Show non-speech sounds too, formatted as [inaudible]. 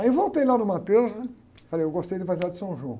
Aí voltei lá no, [unintelligible] né? E falei, eu gostei do [unintelligible] de São João.